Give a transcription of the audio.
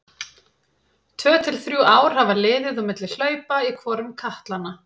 Tvö til þrjú ár hafa liðið á milli hlaupa í hvorum katlanna.